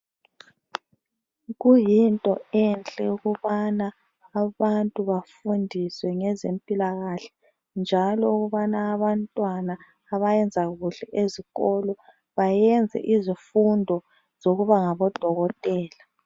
Kuyinto enhle ukubana abantu bafundiswe ngezempilakahle njalo ukubana abantwana abayenza kuhle ezikolo bayenze izifundo zokuba ngabodokotela.